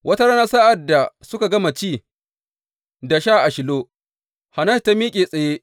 Wata rana sa’ad da suka gama ci da sha a Shilo, Hannatu ta miƙe tsaye.